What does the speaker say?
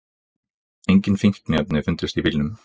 Engin fíkniefni fundust í bílnum